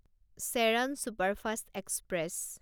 Cheran superfast express